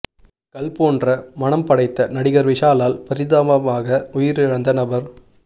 கல் போன்ற மனம் படைத்த நடிகர் விஷாலால் பரிதாபமாக உயிரிழந்த நபர்